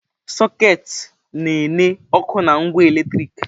Sọketị na enye ọkụ na ngwa eletriki.